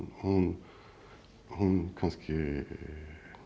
hún hún kannski